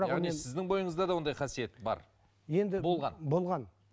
яғни сіздің бойыңызда да ондай қасиет бар енді болған болған